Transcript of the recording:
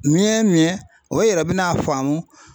Miɲɛ miɲɛ, o yɛrɛ be n'a faamu